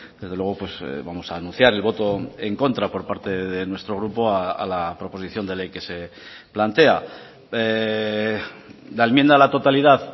desde luego vamos a anunciar el voto en contra por parte de nuestro grupo a la proposición de ley que se plantea la enmienda a la totalidad